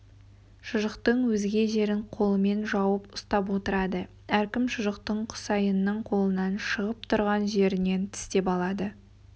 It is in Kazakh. шұжықтың өзге жерін қолымен жауып ұстап отырады әркім шұжықтың құсайынның қолынан шығып тұрған жерінен тістеп алады